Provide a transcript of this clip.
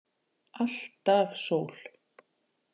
Alltaf sól.